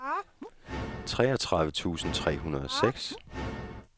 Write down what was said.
treogtredive tusind tre hundrede og seks